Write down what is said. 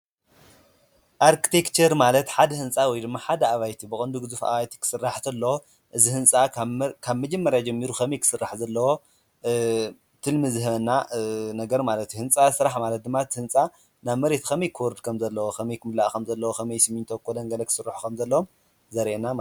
ኣርቲክቸር ማለት ሓደ ህንፃ ወይ ሓደ ኣባይቲ ብቀንዱ ጉዙፍ ኣባይቲ ክስራሕ ተሎ እዚ ህንፃ ካብ መጀመርያ ጀሚሩ ኸመይ ክስራሕ ከም ዘለዎ ትልሚ ዝህበና ነገር ማለት እዩ፡፡ ህንፃ ስራሕ ማለት ድማ እቲ ህንፃ ናብ መሬት ከመይ ክወርድ ከም ዘለዎ ከመይ ክምላእ ከምዘለዎ ከምይ ስሚንቶ ኮሎን ገለ ኸስርሑ ከም ዘለዎም ዘርእየና ማለት እዩ፡፡